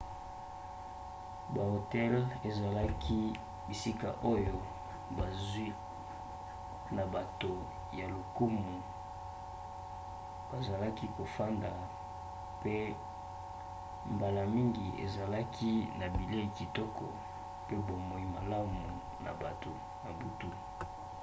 bahotel ezalaki bisika oyo bazwi na bato ya lokumu bazalaki kofanda mpe mbala mingi ezalaki na bilei kitoko mpe bomoi malamu na butu